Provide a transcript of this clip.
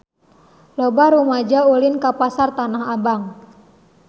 Loba rumaja ulin ka Pasar Tanah Abang